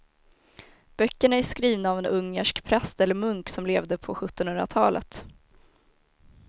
Böckerna är skrivna av en ungersk präst eller munk som levde på sjuttonhundratalet.